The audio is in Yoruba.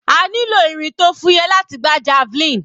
A nílò irin tó fúyẹ́ láti gbá javelin.